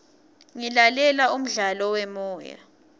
ngilalela umdlalo wemoya